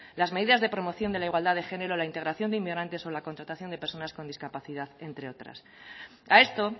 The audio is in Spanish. las medidas de promoción de la igualdad de género la integración de inmigrantes o la contratación de personas con discapacidad entre otras a esto